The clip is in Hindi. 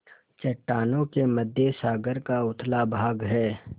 चट्टानों के मध्य सागर का उथला भाग है